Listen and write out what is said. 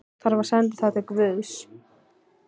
En- hann þarf að senda það til guðs.